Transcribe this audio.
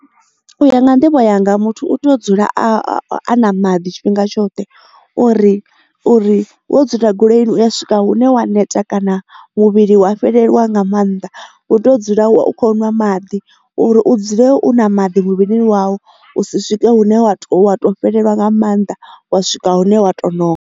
U ya nga nḓivho yanga muthu u tea u dzula a na maḓi tshifhinga tshoṱhe uri uri wo dzula goloini u ya swika hune wa neta kana muvhili wa fheleliwa nga maanḓa u tea u dzula wa u kho nwa maḓi uri u dzule u na maḓi muvhilini wau u si swike hune wa to wa to fhelelwa nga mannḓa wa swika hune wa to noka